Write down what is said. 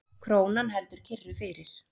Krónan heldur kyrru fyrir